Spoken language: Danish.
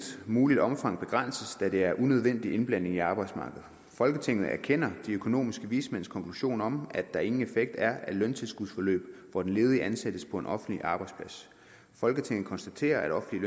muligt omfang begrænses da det er unødvendig indblanding i arbejdsmarkedet folketinget anerkender de økonomiske vismænds konklusion om at der ingen effekt er af løntilskudsforløb hvor den ledige ansættes på en offentlig arbejdsplads folketinget konstaterer at offentlige